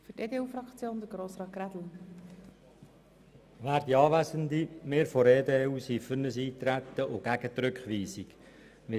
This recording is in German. Wir von der EDU sind für Eintreten und gegen die Rückweisung.